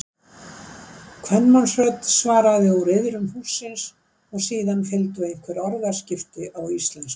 Kvenmannsrödd svaraði úr iðrum hússins og síðan fylgdu einhver orðaskipti á íslensku.